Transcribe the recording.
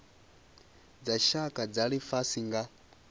dza tshaka dza lifhasi nga